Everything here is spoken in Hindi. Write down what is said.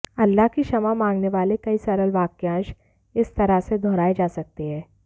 अल्लाह की क्षमा मांगने वाले कई सरल वाक्यांश इस तरह से दोहराए जा सकते हैं